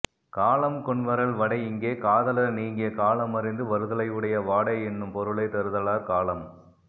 காலம் கொன்வரல் வடை இங்கே காதலர் நீங்கிய காலம் அறிந்து வருதலையுடைய வாடை என்னும் பொருளைத் தருதலாற் காலம்